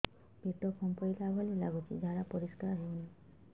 ପେଟ ଫମ୍ପେଇଲା ଭଳି ଲାଗୁଛି ଝାଡା ପରିସ୍କାର ହେଉନି